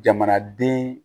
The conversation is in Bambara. Jamanaden